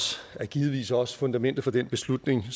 er givetvis også fundamentet for den beslutning